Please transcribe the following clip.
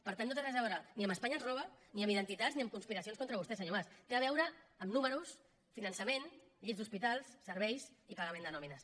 per tant no té res a veure ni amb espanya ens roba ni amb identitats ni amb conspiracions contra vostè senyor mas té a veure amb números finançament llits d’hospitals serveis i pagament de nòmines